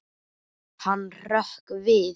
Hann hrökk við.